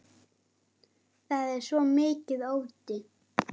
Það er svo mikill ótti.